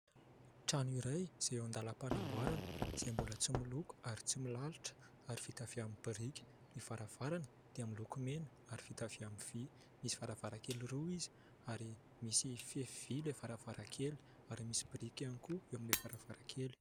Trano iray izay eo am-panamboarana izay mbola tsy miloko ary tsy milalotra ary vita avy amin'ny biriky. Ny varavarana dia miloko mena ary vita amin'ny vy ; misy varavarankely roa izy ary misy fefy vy ilay varavarankely ary misy biriky ihany koa ilay varavarankely.